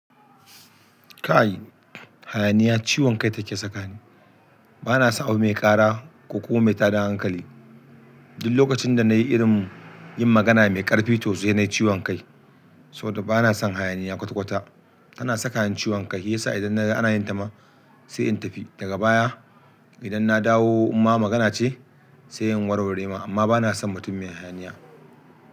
Kai hayaniya ciwon kai take sakani. Bana son abu mai ƙara ko kuma mai tada hankali. Duk lokacin da nayi irin yin magana mai ƙarfi toh sai nayi ciwon kai. Saboda bana son hayaniya kwata-kwata. Ana saka ni ciwon kai, shiyasa idan naga ana yin ta ma sai in tafi. Daga baya idan na dawo um ma magana ce sai in warware ma. Amma bana son mutum mai hayaniya.